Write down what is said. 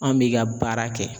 An b'i ka baara kɛ.